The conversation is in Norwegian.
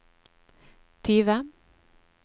tyve